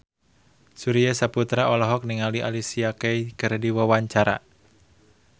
Surya Saputra olohok ningali Alicia Keys keur diwawancara